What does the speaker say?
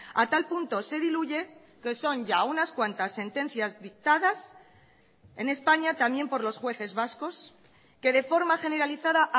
a tal punto se diluye que son ya unas cuantas sentencias dictadas en españa también por los jueces vascos que de forma generalizada